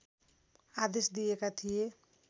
आदेश दिएका थिए